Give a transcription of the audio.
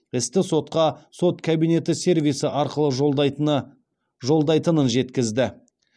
істі сотқа сот кабинеті сервисі арқылы жолдайтынын жеткізді